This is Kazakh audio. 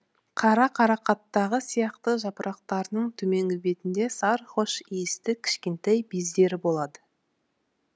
қара қарақаттағы сияқты жапырақтарының төменгі бетінде сары хош иісті кішкентай бездері болады